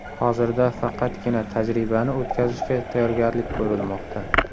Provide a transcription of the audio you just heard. Hozirda faqatgina tajribani o‘tkazishga tayyorgarlik ko‘rilmoqda.